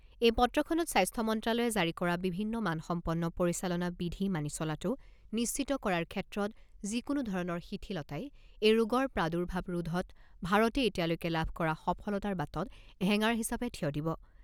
এই পত্ৰখনত স্বাস্থ্য মন্ত্ৰালয়ে জাৰি কৰা বিভিন্ন মানসম্পন্ন পৰিচালনা বিধি মানি চলাটো নিশ্চিত কৰাৰ ক্ষেত্ৰত যি কোনো ধৰণৰ শিথিলতাই এই ৰোগৰ প্ৰাদুৰ্ভাব ৰোধত ভাৰতে এতিয়ালৈকে লাভ কৰা সফলতাৰ বাটত হেঙাৰ হিচাপে থিয় দিব।